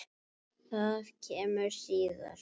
Það kemur síðar.